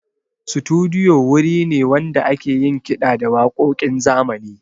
Studiyo wuri ne wanda ake yin kiɗa da waƙoƙin zamani.